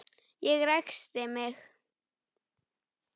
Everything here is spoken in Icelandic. Ég ræskti mig.